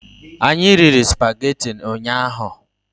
Anyị riri spagetị ụnyaahụ